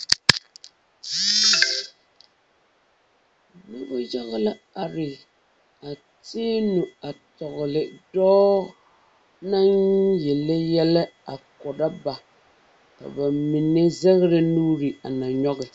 Noba yaga la are ba teɛ nu a kyaare dɔɔ naŋ yele yɛlɛ a korɔ ba ka ba mine zɛgrɛ nuuri a na nyɔge.